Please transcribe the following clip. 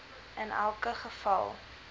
in elke geval